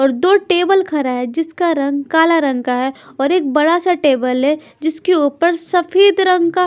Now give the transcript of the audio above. और दो टेबल खड़ा है जिसका रंग काला रंग का है और एक बड़ा सा टेबल है जिसके ऊपर सफेद रंग का--